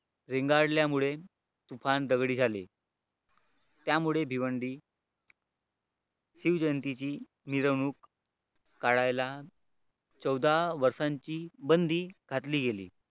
रेंगाळल्यामुळे फारच झगडे झाले त्यामुळे भिवंडी शिवजयंतीची मिरवणूक काढायला चौदा वर्षांची बंदी घातली गेली.